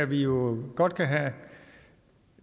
bliver bragt